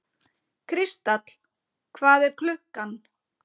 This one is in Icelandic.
Kristall, hvað er klukkan?